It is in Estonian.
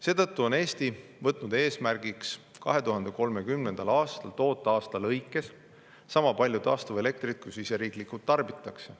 Seetõttu on Eesti võtnud eesmärgiks 2030. aastal toota aasta lõikes sama palju taastuvelektrit, kui siseriiklikult tarbitakse.